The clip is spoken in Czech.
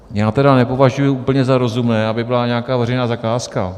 Já tedy nepovažuji úplně za rozumné, aby byla nějaká veřejná zakázka.